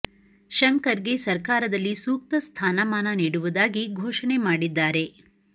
ಶಂಕರ್ ಗೆ ಸರ್ಕಾರದಲ್ಲಿ ಸೂಕ್ತ ಸ್ಥಾನ ಮಾನ ನೀಡುವುದಾಗಿ ಘೋಷಣೆ ಮಾಡಿದ್ದಾರೆ